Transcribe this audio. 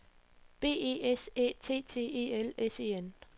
B E S Æ T T E L S E N